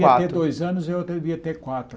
Quatro Devia ter dois anos e a outra devia ter quatro.